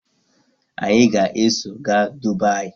Anyị ga-eso gaa Dubaayi.